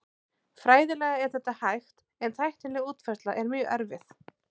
Fræðilega er þetta hægt en tæknileg útfærsla er mjög erfið.